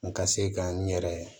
N ka se ka n yɛrɛ